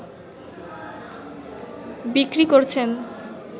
বিক্রি করছেন